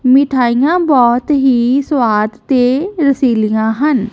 ਮਿੱਠਾਇਆਂ ਬੋਹੁਤ ਹੀ ਸੁਵਾਦ ਤੇ ਰਸੀਲੀਆਂ ਹਨ।